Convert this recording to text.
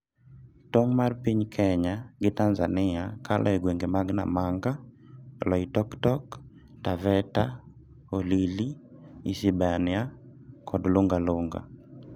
Tong' mar Kenya gi Tanzania kalo e gwenge mag Namanga, Loitoktok, Taveta-Holili, Isebania kod Lunga Lunga.